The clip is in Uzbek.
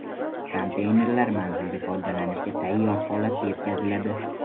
Konteynerlar manzilga foydalanishga tayyor holatda yetkaziladi.